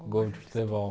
Um gol de futebol.